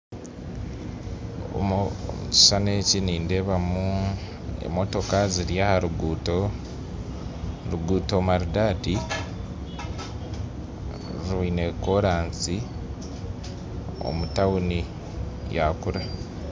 Omukishushani eki nindeebamu emotooka ziri aharuguuto oruguuto maridaadi rwine koolansi omutauni yakura